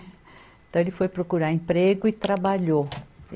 Então, ele foi procurar emprego e trabalhou.